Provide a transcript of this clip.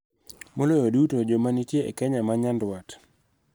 Maloyo duto, joma nitie e Kenya ma nyandwat,